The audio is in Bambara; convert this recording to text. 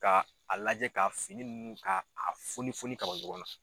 Ka a lajɛ ka fini ninnu ka a foni foni ka bɔ ɲɔgɔn na.